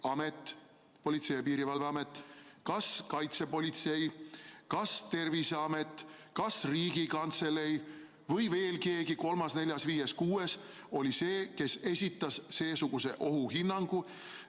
Kas Politsei- ja Piirivalveamet, kas kaitsepolitsei, kas Terviseamet, kas Riigikantselei või veel keegi kolmas, neljas, viies, kuues oli see, kes esitas seesuguse ohuhinnangu?